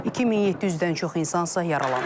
2700-dən çox insan isə yaralanıb.